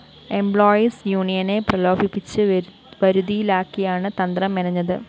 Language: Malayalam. എംപ്ലോയീസ്‌ യൂണിയനെ പ്രലോഭിപ്പിച്ച്‌ വരുതിയിലാക്കിയാണ്‌ തന്ത്രം മെനഞ്ഞത്‌